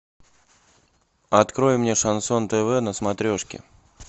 открой мне шансон тв на смотрешке